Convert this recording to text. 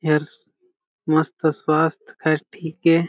एहर मस्त स्वास्थ है ठीक हे।